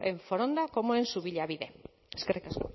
en foronda como en subillabide eskerrik asko